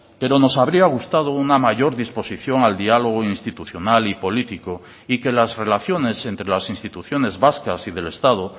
pero nos habría gustado una mayor disposición al diálogo institucional y político y que las relaciones entre las instituciones vascas y del estado